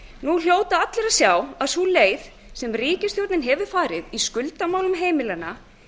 nú hljóta allir að sjá að sú leið sem ríkisstjórnin hefur farið í skuldamálum heimilanna